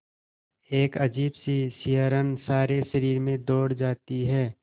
एक अजीब सी सिहरन सारे शरीर में दौड़ जाती है